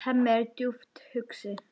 Hemmi er djúpt hugsi.